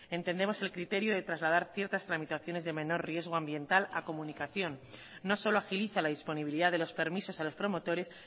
entendemos el criterio de trasladar ciertas tramitaciones de menor riesgo ambiental a comunicación no solo agiliza la disponibilidad de los permisos a los promotores